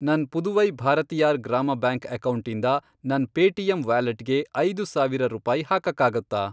ನನ್ ಪುದುವೈ ಭಾರತಿಯಾರ್ ಗ್ರಾಮ ಬ್ಯಾಂಕ್ ಅಕೌಂಟಿಂದ ನನ್ ಪೇಟಿಎಮ್ ವ್ಯಾಲೆಟ್ಗೆ ಐದು ಸಾವಿರ ರೂಪಾಯಿ ಹಾಕಕ್ಕಾಗತ್ತಾ?